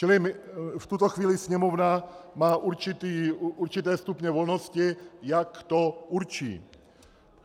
Čili v tuto chvíli Sněmovna má určité stupně volnosti, jak to určí.